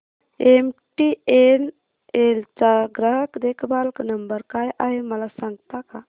MTNL चा ग्राहक देखभाल नंबर काय आहे मला सांगता का